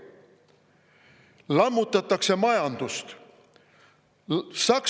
Lammutatakse majandust!